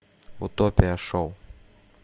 утопия шоу